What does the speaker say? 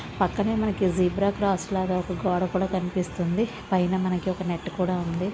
పక్కనే మనకి zebra cross లాగా ఒక గోడ కూడా కనిపిస్తుంది. పైన మనకి ఒక నెట్ కూడా ఉంది.